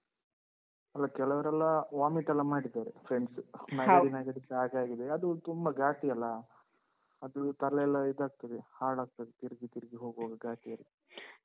ಅಲ್ಲ, ಕೆಲವರೆಲ್ಲ vomit ಎಲ್ಲ ಮಾಡಿದ್ದಾರೆ, friends ಅದು ತುಂಬಾ ಘಾಟಿ ಅಲ್ಲ. ಅದು ತಲೆಯೆಲ್ಲ ಇದಾಗ್ತದೆ, ಹಾಳಾಗ್ತದೆ ತಿರ್ಗಿ ತಿರ್ಗಿ ಹೋಗ್ವಾಗ ಘಾಟಿಯಲ್ಲಿ.